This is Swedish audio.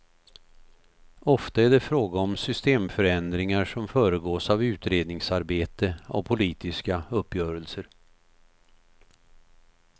Ofta är det fråga om systemförändringar som föregås av utredningsarbete och politiska uppgörelser.